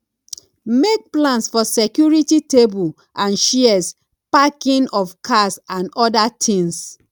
make plans for security table and chairs parking of cars and oda things